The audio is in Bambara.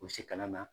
U bɛ se kana na